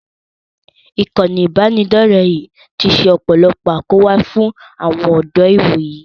Ìkànnì ìbánidọ̀rẹ́ yìí ti ṣe ọ̀pọ̀lọpọ̀ àkóbá fún àwọn ọ̀dọ́ ìwòyí